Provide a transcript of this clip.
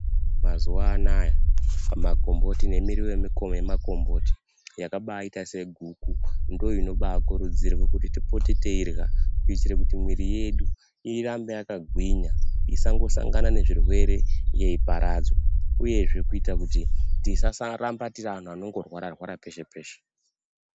Mazuwa aanaya makomboti nemiriwo yemuko yemukomboti yakaita seguku ndoinobaa kurudzirwe kuti tipote teirya kuitire kuti mwiti yedu irambe yakagwinya isangosangana nezvirwere yeiparadzwa uyezve kuitira kuti tisasaramba tiri antu anongorwara rwara peshe peshe.